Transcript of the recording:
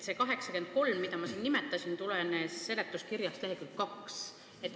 Arv 83, mida ma nimetasin, on kirjas seletuskirja leheküljel nr 2.